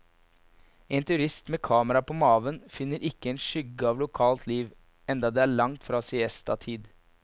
En turist med kamera på maven finner ikke en skygge av lokalt liv, enda det er langt fra siestatid.